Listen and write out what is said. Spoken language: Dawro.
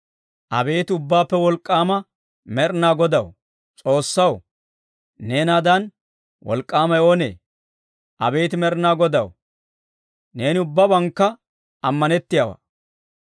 Abeet Ubbaappe Wolk'k'aama Med'inaa Godaw, S'oossaw, neenaadan wolk'k'aamay oonee? Abeet Med'inaa Godaw, neeni ubbabankka ammanettiyaawaa.